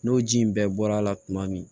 N'o ji in bɛɛ bɔra a la tuma min